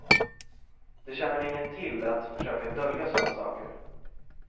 Det tjänar inget till att försöka dölja såna saker.